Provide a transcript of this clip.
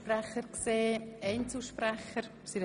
Gibt es noch Einzelvoten?